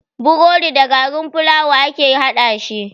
Burodi da garin fulawa ake haɗashi.